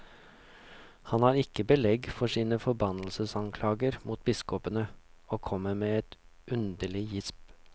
Han har ikke belegg for sine forbannelsesanklager mot biskopene, og kommer med et underlig.